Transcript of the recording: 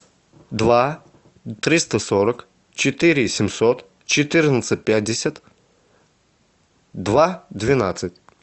два триста сорок четыре семьсот четырнадцать пятьдесят два двенадцать